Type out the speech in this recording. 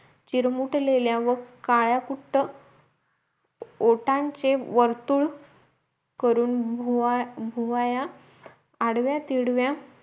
चिरमुटलेल्या व काळ्याकुट्ट ओठांचे वर्तुळ करू करून भुवया अडव्या तिडव्या